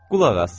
Qulaq as.